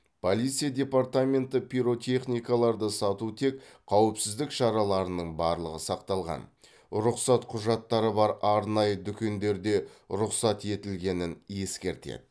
полиция департаменті пиротехникаларды сату тек қауіпсіздік шараларының барлығы сақталған рұқсат құжаттары бар арнайы дүкендерде рұқсат етілгенін ескертеді